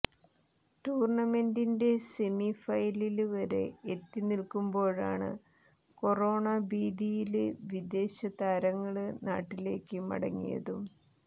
ടൂര്ണമെന്റിന്റെ semi final വരെ എത്തി നില്ക്കുമ്പോളാണ് കൊറോണ ഭീതിയില് വിദേശ താരങ്ങള് നാട്ടിലേക്ക് മടങ്ങിയതും